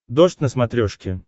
дождь на смотрешке